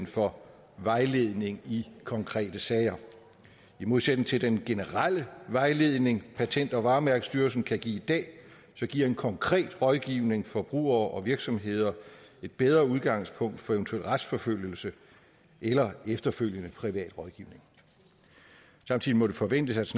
for vejledning i konkrete sager i modsætning til den generelle vejledning patent og varemærkestyrelsen kan give i dag giver en konkret rådgivning forbrugere og virksomheder et bedre udgangspunkt for eventuel retsforfølgelse eller efterfølgende privat rådgivning samtidig må det forventes